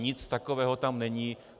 Nic takového tam není.